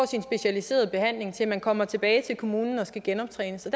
sin specialiserede behandling til man kommer tilbage til kommunen og skal genoptrænes